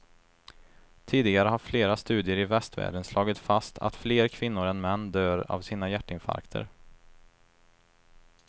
Tidigare har flera studier i västvärlden slagit fast att fler kvinnor än män dör av sina hjärtinfarkter.